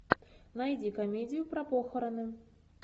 найди комедию про похороны